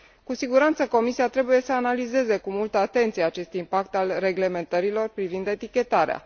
Cu siguranță Comisia trebuie să analizeze cu multă atenție acest impact al reglementărilor privind etichetarea.